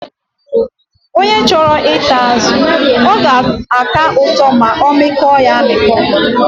Onye chọrọ ịta azụ, ọ ga-aka ụtọ ma ọ mịkpọ ya amịkpọ.